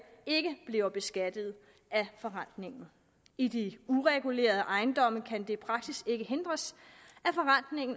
ikke bliver beskattet af forrentningen i de uregulerede ejendomme kan i praksis ikke hindres